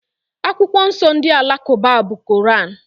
Akwụkwọ nsọ ndị Alakụba bụ Koran.